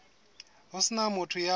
ho se na motho ya